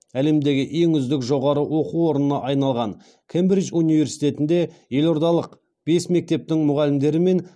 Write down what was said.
әлемдегі ең үздік жоғары оқу орнына айналған кембридж университетінде елордалық бес мектептің мұғалімдері мен